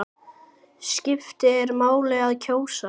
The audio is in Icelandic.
Skiptir máli að kjósa?